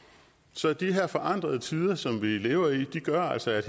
så de her forandrede tider som vi lever i gør altså at